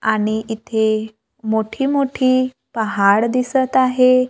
आणि इथे मोठी-मोठी पहाड दिसतं आहे.